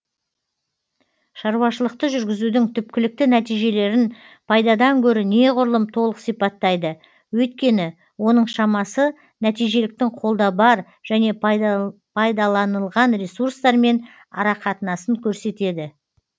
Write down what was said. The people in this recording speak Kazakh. шаруашылықты жүргізудің түпкілікті нәтижелерін пайдадан гөрі неғұрлым толық сипаттайды өйткені оның шамасы нәтижеліліктің қолда бар және пайдаланылған ресурстармен арақатынасын көрсетеді